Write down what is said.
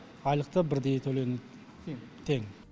айлық та бірдей төленеді тең